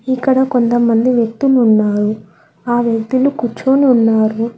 ఇక్కడ కొంతమంది వ్యక్తులు ఉన్నారు ఆ వ్యక్తులు కూర్చొని ఉన్నారు.